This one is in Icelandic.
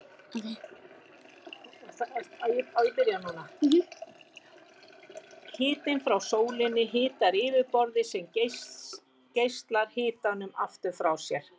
Hitinn frá sólinni hitar yfirborðið sem geislar hitanum aftur frá sér.